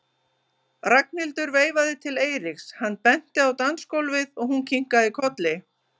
Ragnhildur veifaði til Eiríks, hann benti á dansgólfið og hún kinkaði kolli.